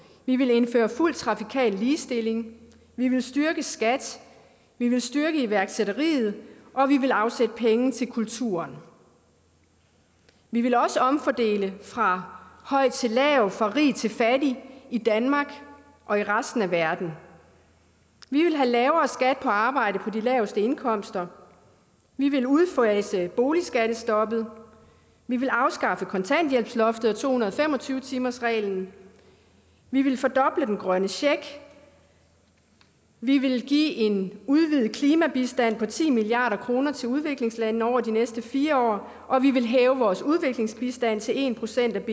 vi ville indføre fuld trafikal ligestilling vi ville styrke skat vi ville styrke iværksætteriet og vi ville afsætte penge til kulturen vi ville også omfordele fra høj til lav fra rig til fattig i danmark og i resten af verden vi ville have lavere skat på arbejde på de laveste indkomster vi ville udfase boligskattestoppet vi ville afskaffe kontanthjælpsloftet og to hundrede og fem og tyve timersreglen vi ville fordoble den grønne check vi ville give en udvidet klimabistand på ti milliard kroner til udviklingslandene over de næste fire år og vi ville hæve vores udviklingsbistand til en procent af